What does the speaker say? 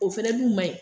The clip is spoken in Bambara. O fɛnɛ dun ma ɲi